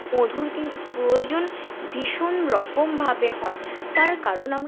মধুর কিন্তু প্রয়োজন ভীষন রকম ভাবে হয় তার কারন আমরা